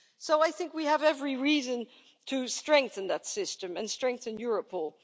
So I think we have every reason to strengthen that system and strengthen Europol.